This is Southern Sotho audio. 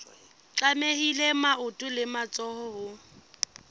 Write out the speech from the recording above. tlamehile maoto le matsoho ho